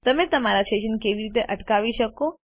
તમે તમારા સેશન કેવી રીતે અટકાવી શકો